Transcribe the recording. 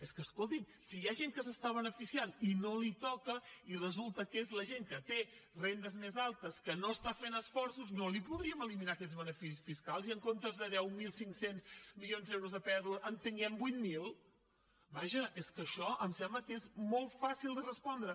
és que escolti’m si hi ha gent que se n’està beneficiant i no li toca i resulta que és la gent que té rendes més altes que no està fent esforços no li podríem eliminar aquests beneficis fiscals i que en comptes de deu mil cinc cents milions d’euros de pèrdua en tinguem vuit mil vaja és que això em sembla que és molt fàcil de respondre